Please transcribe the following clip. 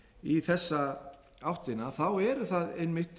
í þessa áttina eru það einmitt